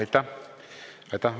Aitäh!